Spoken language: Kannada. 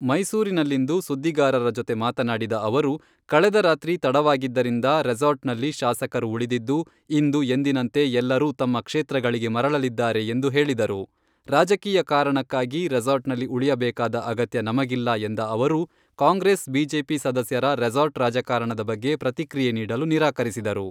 ಮೈಸೂರಿನಲ್ಲಿಂದು ಸುದ್ದಿಗಾರರ ಜೊತೆ ಮಾತನಾಡಿದ ಅವರು, ಕಳೆದ ರಾತ್ರಿ ತಡವಾಗಿದ್ದರಿಂದ ರೆಸಾರ್ಟ್ನಲ್ಲಿ ಶಾಸಕರು ಉಳಿದಿದ್ದು ಇಂದು ಎಂದಿನಂತೆ ಎಲ್ಲರೂ ತಮ್ಮ ಕ್ಷೇತ್ರಗಳಿಗೆ ಮರಳಲಿದ್ದಾರೆ ಎಂದು ಹೇಳಿದರು.ರಾಜಕೀಯ ಕಾರಣಕ್ಕಾಗಿ ರೆಸಾರ್ಟ್ನಲ್ಲಿ ಉಳಿಯಬೇಕಾದ ಅಗತ್ಯ ನಮಗಿಲ್ಲ ಎಂದ ಅವರು, ಕಾಂಗ್ರೆಸ್ ಬಿಜೆಪಿ ಸದಸ್ಯರ ರೆಸಾರ್ಟ್ ರಾಜಕಾರಣದ ಬಗ್ಗೆ ಪ್ರತಿಕ್ರಿಯೆ ನೀಡಲು ನಿರಾಕರಿಸಿದರು.